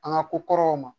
An ka ko kɔrɔw ma